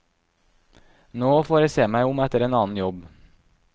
Nå får jeg se meg om etter en annen jobb.